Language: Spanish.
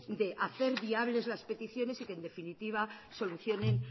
de hacer viables las peticiones y que en definitiva solucionen